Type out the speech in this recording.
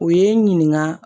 U ye n ɲininka